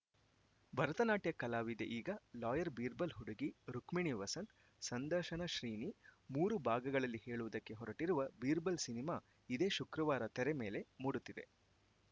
ಭರತನಾಟ್ಯ ಕಲಾವಿದೆ ಈಗ ಲಾಯರ್‌ ಬೀರ್‌ಬಲ್‌ ಹುಡುಗಿ ರುಕ್ಮಿಣಿ ವಸಂತ್‌ ಸಂದರ್ಶನ ಶ್ರೀನಿ ಮೂರು ಭಾಗಗಳಲ್ಲಿ ಹೇಳುವುದಕ್ಕೆ ಹೊರಟಿರುವ ಬೀರ್‌ಬಲ್‌ ಸಿನಿಮಾ ಇದೇ ಶುಕ್ರವಾರ ತೆರೆ ಮೇಲೆ ಮೂಡುತ್ತಿದೆ